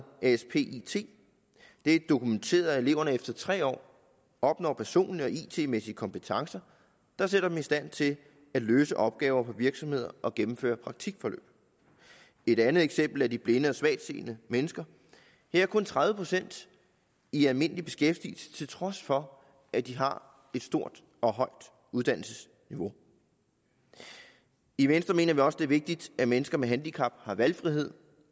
aspit det er dokumenteret at eleverne efter tre år opnår personlige og it mæssige kompetencer der sætter dem i stand til at løse opgaver for virksomheder og gennemføre praktikforløb det andet eksempel er de blinde og svagtseende mennesker her er kun tredive procent i almindelig beskæftigelse til trods for at de har et stort og højt uddannelsesniveau i venstre mener vi også at det er vigtigt at mennesker med handicap har valgfrihed